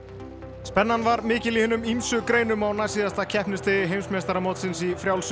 spennan var mikil í hinum ýmsu greinum á næstsíðasta keppnisdegi heimsmeistaramótsins í frjálsum